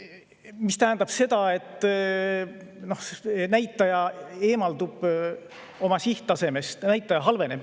See tähendab seda, et näitaja eemaldub oma sihttasemest, näitaja halveneb.